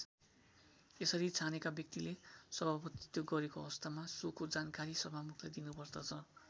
यसरी छानेको व्यक्तिले सभापतित्व गरेको अवस्थामा सोको जानकारी सभामुखलाई दिनुपर्दछ।